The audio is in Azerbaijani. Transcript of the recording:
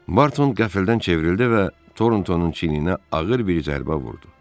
Barton qəflətən çevrildi və Toruntonun çiyininə ağır bir zərbə vurdu.